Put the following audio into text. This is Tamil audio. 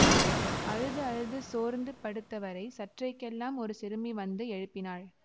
அழுது அழுது சோர்ந்து படுத்தவரை சற்றைக்கெல்லாம் ஒரு சிறுமி வந்து எழுப்பினாள்